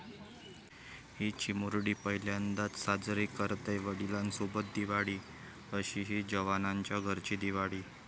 ...'ही' चिमुरडी पहिल्यांदाच साजरी करतेय वडिलांसोबत दिवाळी, अशीही जवानांच्या घरची दिवाळी